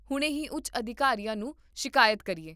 ਹੁਣੇ ਹੀ ਉੱਚ ਅਧਿਕਾਰੀਆਂ ਨੂੰ ਸ਼ਿਕਾਇਤ ਕਰੀਏ